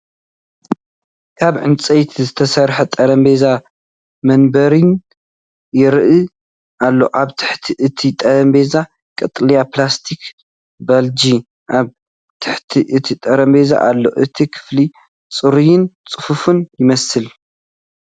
ካብ ዕንጨይቲ ዝተሰርሐ ጠረጴዛን መንበርን ይርአ ኣሎ። ኣብ ትሕቲ እቲ ጠረጴዛ ቀጠልያ ፕላስቲክ ባልጃ ኣብ ትሕቲ እቲ ጠረጴዛ ኣሎ። እቲ ክፍሊ ጽሩይን ጽፉፍን ይመስል።